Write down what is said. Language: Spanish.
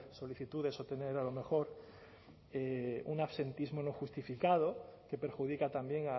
solicitudes o tener a lo mejor un absentismo no justificado que perjudica también